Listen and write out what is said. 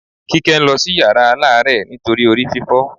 Kíkẹ́ ń lọ sí yàrá aláàárẹ̀ nítorí orí fífọ́